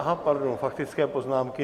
Aha, pardon, faktické poznámky.